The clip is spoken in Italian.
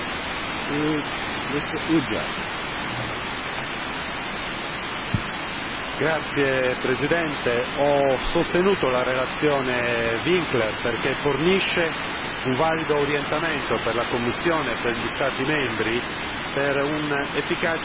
Signor Presidente, ho sostenuto la relazione Winkler perché fornisce un valido orientamento per la Commissione e per gli Stati membri per un efficace impiego dei Fondi strutturali.